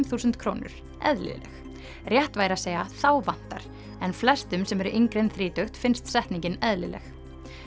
þúsund krónur eðlileg rétt væri að segja þá vantar en flestum sem eru yngri en þrítugt finnst setningin eðlileg